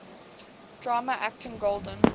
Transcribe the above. drama actor golden